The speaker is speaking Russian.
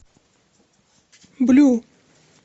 блю